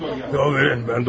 Yol verin, mən doktoram.